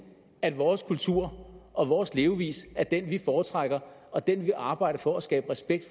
at vores kultur og vores levevis er den vi foretrækker og den vi arbejder for at skabe respekt